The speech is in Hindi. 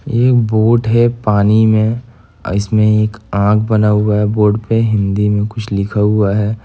ये एक बोट है पानी में इसमें एक आंख बना हुआ है बोट पे हिंदी में कुछ लिखा हुआ है।